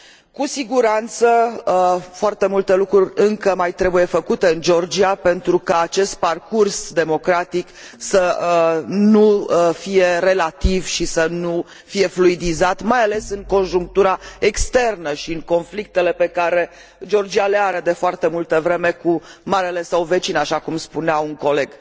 Cu siguranță, foarte multe lucruri încă mai trebuie făcute în Georgia pentru ca acest parcurs democratic să nu fie relativ și să nu fie fluidizat, mai ales în conjunctura externă și în conflictele pe care Georgia le are de foarte multă vreme cu marele său vecin, așa cum spunea un coleg.